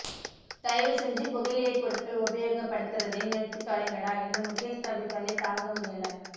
தயவுசெஞ்சு புகையிலை பொருட்கள் உபயோகப் படுத்தறதை நிறுத்தி தொலைங்கடா இந்த முகேஷ் தம்பி தொல்லை தாங்க முடியல